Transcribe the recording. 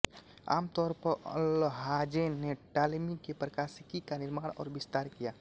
आम तौर पर अल्हाज़ेन ने टॉलेमी के प्रकाशिकी का निर्माण और विस्तार किया